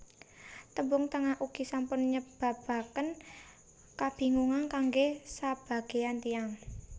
Tembung Tengah ugi sampun nyebabaken kabingungan kanggé sabagéyan tiyang